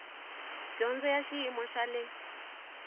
dyondzo ya xiyimo xa le